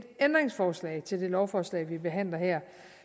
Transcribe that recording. ændringsforslag til det lovforslag vi behandler her